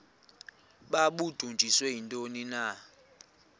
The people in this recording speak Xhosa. babudunjiswe yintoni na